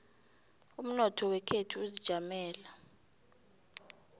umnotho wekhethu uzijamele